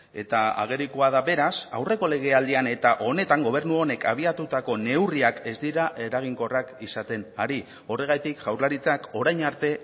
eta agerikoa da beraz aurreko legealdian eta honetan gobernu honek abiatutako neurriak ez dira eraginkorrak izaten ari horregatik jaurlaritzak orain arte